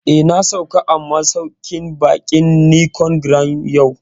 Eh, na sauka a masauƙin baƙin Nicon Grand yau